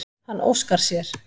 Hann óskar sér.